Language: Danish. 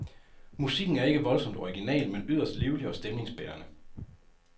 Musikken er ikke voldsomt original, men yderst livlig og stemningsbærende.